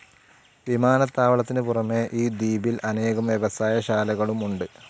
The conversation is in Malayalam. വിമാനത്താവളത്തിനു പുറമേ ഈ ദ്വീപിൽ അനേകം വ്യവസായ ശാലകളും ഉണ്ട്.